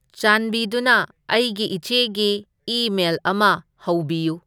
ꯆꯥꯟꯕꯤꯗꯨꯅ ꯑꯩꯒꯤ ꯏꯆꯦꯒꯤ ꯏꯃꯦꯜ ꯑꯃ ꯍꯧꯕꯤꯌꯨ